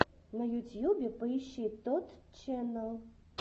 на ютьюбе поищи тотт ченнал